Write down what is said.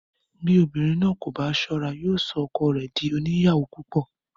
Bí obìnrin náà kò bá sọ́ra, yóò sọ ọkọ rẹ dí oníyàwó púpò.